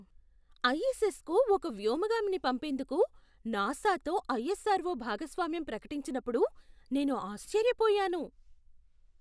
ISS కు ఒక వ్యోమగామిని పంపేందుకు నాసా తో ఐఎస్ఆర్ఓ భాగస్వామ్యం ప్రకటించినప్పుడు నేను ఆశ్చర్యపోయాను!